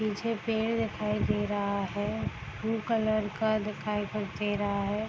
पीछे पेड़ दिखाई दे रहा है ब्लू कलर का दिखाई तो दे रहा है।